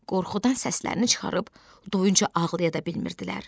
Qorxudan səslərini çıxarıb doyuncaya ağlaya da bilmirdilər.